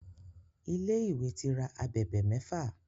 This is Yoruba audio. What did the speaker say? Ilé tí ìwé rà ábèbè méfà.